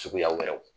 Suguya wɛrɛw